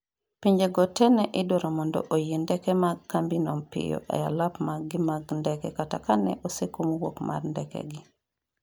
pinjego te ne idwaro mondo oyie ndeke mag kambino piyo e alap mekgi mag ndeke kata kane osekum wuok mar ndekegi